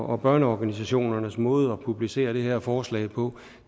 og børneorganisationernes måde at publicere det her forslag på